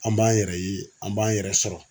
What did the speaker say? An b'an yɛrɛ ye an b'an yɛrɛ sɔrɔ.